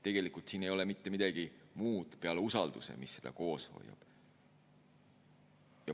Tegelikult ei ole siin mitte midagi muud peale usalduse, mis seda koos hoiab.